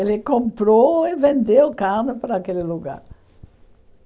Ele comprou e vendeu carne para aquele lugar.